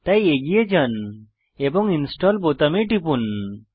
তাই এগিয়ে যান এবং ইনস্টল বোতামে টিপুন